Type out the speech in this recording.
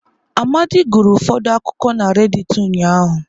Amadi gụrụ ụfọdụ akụkọ na redịtị ụnyahụ.